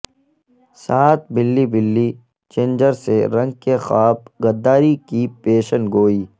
ساتھ بلی بلی جنجر سے رنگ کے خواب غداری کی پیشن گوئی